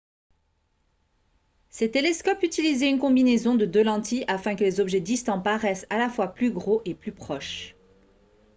ces télescopes utilisaient une combinaison de deux lentilles afin que les objets distants paraissent à la fois plus gros et plus proches